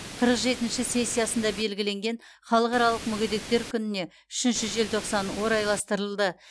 қырық жетінші сессиясында белгіленген халықаралық мүгедектер күніне үшінші желтоқсан орайластырылды